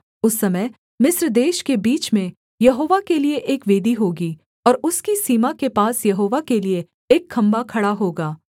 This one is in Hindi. उस समय मिस्र देश के बीच में यहोवा के लिये एक वेदी होगी और उसकी सीमा के पास यहोवा के लिये एक खम्भा खड़ा होगा